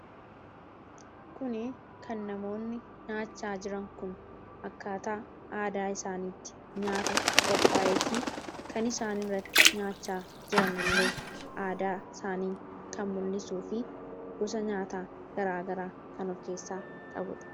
Kun kan namoonni nyaataa jiran kun akkaataa aadaa isaaniitti nyaata qophaa'ee fi kan isaan irratti nyaachaa jiran illee aadaa isaanii kan mul'isuu fi gosa nyaataa garaagaraa kan of keessaa qabuudha